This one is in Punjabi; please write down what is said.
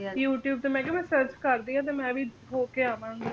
youtube ਤੇ ਮੈਂ ਕਿਹਾ ਮੈਂ search ਕਰਦੀ ਆ ਤੇ ਮੈਂ ਵੀ ਹੋਕੇ ਆਵਾਂਗੀ